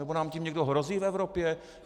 Nebo nám tím někdo hrozí v Evropě?